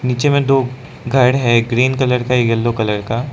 पीछे में दो घर है एक ग्रीन कलर का एक येलो कलर का।